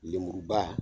Lemuruba